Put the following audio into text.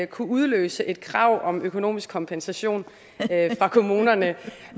kunne udløse et krav om økonomisk kompensation fra kommunerne